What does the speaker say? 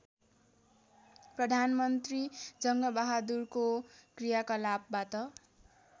प्रधानमन्त्री जङ्गबहादुरको क्रियाकलापबाट